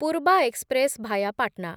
Poorva express via Patna